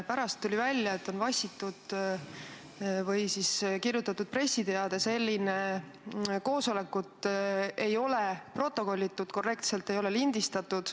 Pärast tuli välja, et on vassitud või kirjutatud pressiteade selliselt ning et koosolekut ei ole korrektselt protokollitud ega lindistatud.